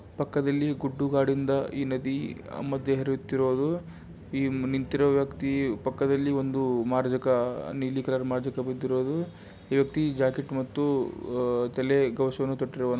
ಪಕ್ಕದಲ್ಲಿ ಗುಡ್ಡು ಗಾಡಿನಿಂದ ಈ ನದಿ ಮದ್ಯೆ ಹರಿತಾ ಇರೋದು ಇ ನಿಂತಿರೋ ವ್ಯಕ್ತಿ ಪಕ್ಕದಲ್ಲಿ ಒಂದು ಮಾರಕ ನಿಲಿ ಕಲರ್ ಮಾರಕ ನಿಂತಿರೋದು ಈ ವ್ಯಕ್ತಿ ಜಾಕೆಟ್ ಮತ್ತು ತಲೆ ಘೋಷ ತೊಟ್ಟಿರುವನು.